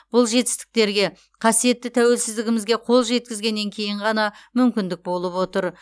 бұл жетістіктерге қасиетті тәуелсіздігімізге қол жеткізгеннен кейін ғана мүмкіндік болып отыр